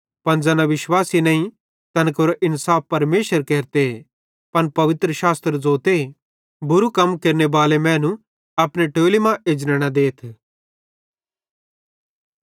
पन ज़ैना विश्वासी नईं तैन केरो इन्साफ परमेशर केरते पन पवित्रशास्त्र ज़ोते बुरू कम केरनेबाले मैनू अपने टोली मां एजने न देथ